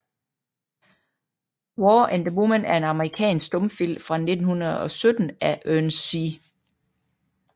War and the Woman er en amerikansk stumfilm fra 1917 af Ernest C